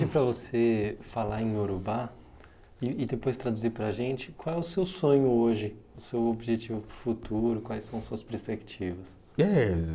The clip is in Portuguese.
Eu pedi para você falar em Iorubá e e depois traduzir para a gente qual é o seu sonho hoje, o seu objetivo futuro, quais são as suas perspectivas. Eh